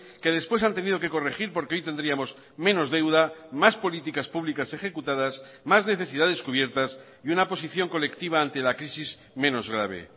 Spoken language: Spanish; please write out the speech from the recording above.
que después han tenido que corregir porque hoy tendríamos menos deuda más políticas públicas ejecutadas más necesidades cubiertas y una posición colectiva ante la crisis menos grave